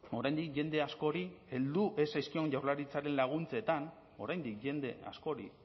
oraindik jende askori heldu ez zaizkion jaurlaritzaren laguntzetan oraindik jende askori